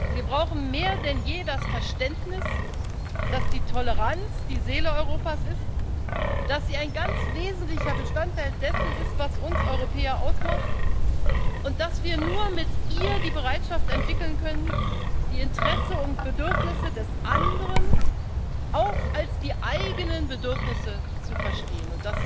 Wir brauchen mehr denn je das Verständnis, dass die Toleranz die Seele Europas ist, dass sie ein ganz wesentlicher Bestandteil dessen ist, was uns Europäer ausmacht, und dass wir nur mit ihr die Bereitschaft entwickeln können, die Interessen und Bedürfnisse des anderen auch als die eigenen Bedürfnisse zu verstehen.